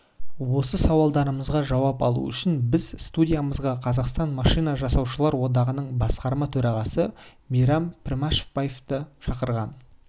осы сауалдарымызға жауап алу үшін біз студиямызға қазақстан машина жасаушылар одағының басқарма төрағасы мейрам пішембаевты шақырған